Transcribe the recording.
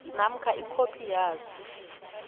namkha ikhophi yaso